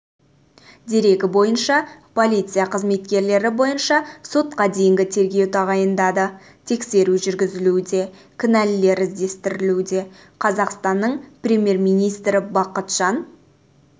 дерегі бойынша полиция қызметкерлері бойынша сотқа дейінгі тергеу тағайындады тексеру жүргізілуде кінәлілер іздестірілуде қазақстанның премьер-министрі бақытжан